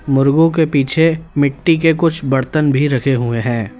मुर्गो के पीछे मिट्टी के कुछ बर्तन भी रखे हुए हैं।